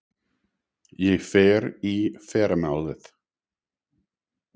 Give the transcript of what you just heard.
Ég fer í fyrramálið.